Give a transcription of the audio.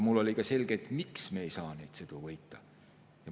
Mulle oli ka selge, miks me ei saa neid sõidu võita.